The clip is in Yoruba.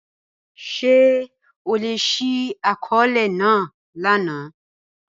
Ṣe o le ṣi akọọlẹ naa lana?